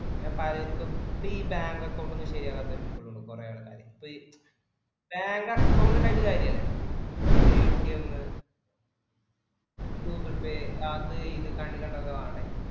പിന്നെ പഴയതു ഒത്തിരി bank account ഒന്നും ശരിയാവാത്തൊരു ഇപ്പോഴും ഉണ്ട് കുറെ ആൾക്കാര്. ഇപ്പൊ ഈ Bank account ഉണ്ടായിട്ടു കാര്യം ഇല്ലല്ലോ. PayTM Google pay അത് ഇത് നാടാ ഇത്